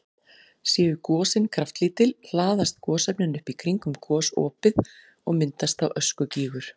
Séu gosin kraftlítil hlaðast gosefnin upp í kringum gosopið og myndast þá öskugígur.